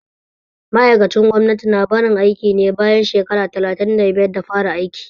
Ma'aikacin gwamnati na barin aiki ne bayan shekara talatin da biyar da fara aiki